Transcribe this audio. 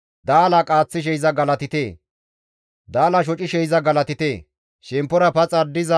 Daala qaaththishe iza galatite; daalaa shocishe iza galatite. Dumma dumma yeththa miishshata